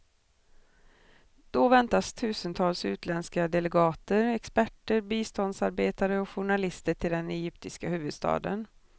Då väntas tusentals utländska delegater, experter, biståndsarbetare och journalister till den egyptiska huvudstaden.